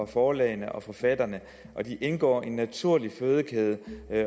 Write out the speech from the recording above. forlagene og forfatterne og de indgår i en naturlig fødekæde